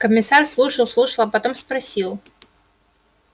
комиссар слушал слушал а потом спросил